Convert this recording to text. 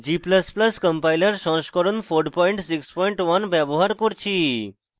g ++ compiler সংস্করণ 461 ব্যবহার করছি